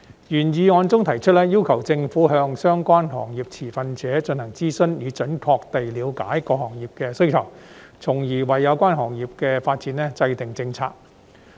原議案中提出，要求政府向相關行業持份者進行諮詢，以準確地了解各行業的需求，從而為有關行業的發展制訂政策。